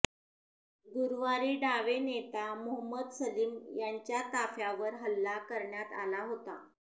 गुरूवारी डावे नेता मोहम्मद सलीम यांच्या ताफ्यावर हल्ला करण्यात आला होता